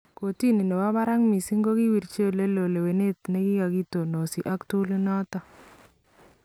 Koortini nebo baraak missing kokiwirchii oleloon lewenet nekakitonosi ak tool inoton